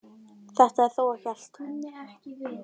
Þetta er þó ekki allt